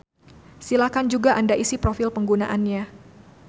Silakan juga anda isi profil penggunanya.